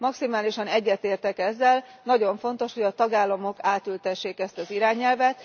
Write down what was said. Maximálisan egyetértek ezzel, nagyon fontos, hogy a tagállamok átültessék ezt az irányelvet.